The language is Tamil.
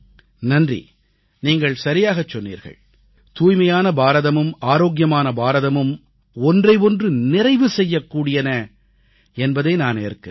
நன்றி நீங்கள் சரியாகச் சொன்னீர்கள் தூய்மையான பாரதமும் ஆரோக்கியமான பாரதமும் ஒன்றை ஒன்று நிறைவு செய்யக் கூடியன என்பதை நான் ஏற்கிறேன்